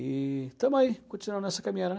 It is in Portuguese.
E estamos aí, continuando nessa caminhada, né?